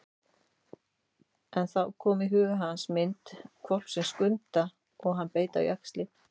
En þá kom í huga hans mynd hvolpsins Skunda og hann beit á jaxlinn.